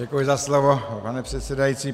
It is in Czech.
Děkuji za slovo, pane předsedající.